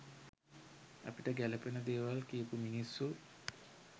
අපිට ගැලපෙන දේවල් කියපු මිනිස්සු.